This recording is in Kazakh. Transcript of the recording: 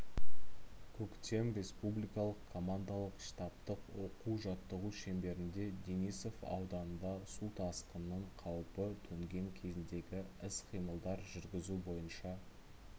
көктем республикалық командалық штабтық оқу-жаттығу шеңберінде денисов ауданында су тасқынның қауіпі төнген кезіндегі іс-қимылдар жүргізу бойынша